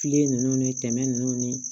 Filen nunnu ni tɛmɛ nunnu ni